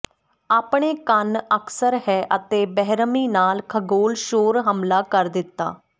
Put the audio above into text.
ਆਪਣੇ ਕੰਨ ਅਕਸਰ ਹੈ ਅਤੇ ਬੇਰਹਿਮੀ ਨਾਲ ਖਗੋਲ ਸ਼ੋਰ ਹਮਲਾ ਕਰ ਦਿੱਤਾ